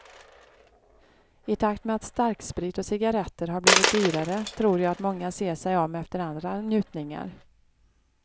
I takt med att starksprit och cigaretter har blivit dyrare tror jag att många ser sig om efter andra njutningar.